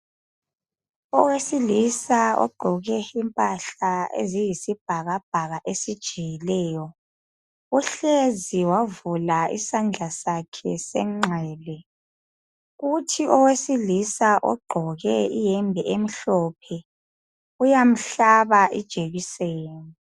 Owesilisa ogqoke impahla eziyisibhakabhaka esijiyileyo. Uhlezi wavula isandla sakhe senxele, kuthi owesilisa ogqoke iyembe emhlophe uyamhlaba ijekiseni.